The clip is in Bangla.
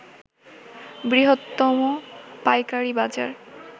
বৃহত্তম পাইকারি বাজার